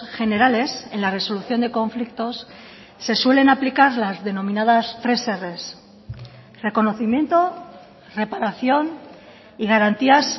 generales en la resolución de conflictos se suelen aplicar las denominadas tres erres reconocimiento reparación y garantías